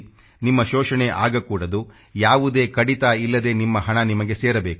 ನಿಮ್ಮ ಶೋಷಣೆ ಆಗಕೂಡದು ಯಾವುದೇ ಕಡಿತ ಇಲ್ಲದೇ ನಿಮ್ಮ ಹಣ ನಿಮಗೆ ಸೇರಬೇಕು